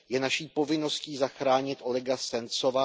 Je naší povinností zachránit Olega Sencova.